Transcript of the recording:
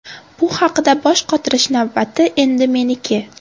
Bu haqida bosh qotirish navbati endi meniki”.